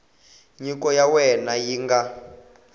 nyiko ya wena yi nga